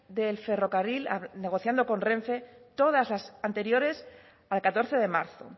del ferrocarril negociando con renfe todas las anteriores al catorce de marzo